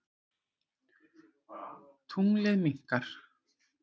Tunglið minnkar.